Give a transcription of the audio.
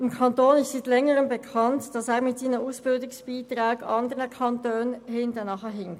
Es ist schon länger bekannt, dass der Kanton Bern bei den Ausbildungsbeiträgen anderen Kantonen hinterherhinkt.